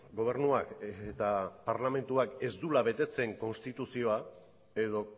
gobernuak eta parlamentuak ez duela betetzen konstituzioa edo